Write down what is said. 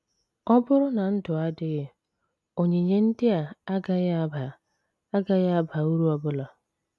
Ọ bụrụ na ndụ adịghị, onyinye ndị a agaghị aba agaghị aba uru ọ bụla.